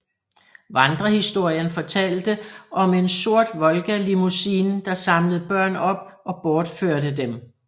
Vandrehistorien fortalte om en sort Volga limousine der samlede børn op og bortførte dem